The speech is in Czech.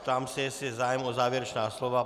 Ptám se, jestli je zájem o závěrečná slova.